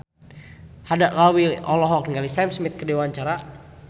Haddad Alwi olohok ningali Sam Smith keur diwawancara